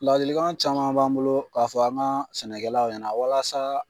Ladilikan caman b'an bolo k'a fɔ an ka sɛnɛkɛlaw ɲɛna walasa